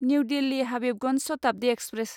new Delhi Habibganj Shatabdi express